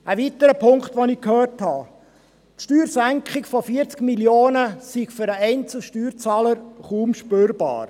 Ein weiterer Punkt, den ich gehört habe: Die Steuersenkung von 40 Mio. Franken sei für den einzelnen Steuerzahler kaum spürbar.